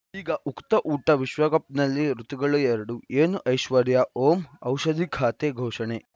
ಈಗ ಉಕುತ ಊಟ ವಿಶ್ವಕಪ್‌ನಲ್ಲಿ ಋತುಗಳು ಎರಡು ಏನು ಐಶ್ವರ್ಯಾ ಓಂ ಔಷಧಿ ಖಾತೆ ಘೋಷಣೆ